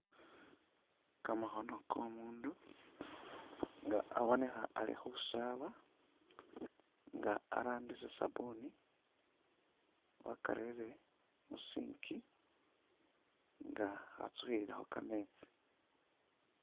Kamakhono ko'umundu nga abonekha ali khusaaba nga arambisa sabuni wakarere mu sink nga akha tsukhililakho kametsi.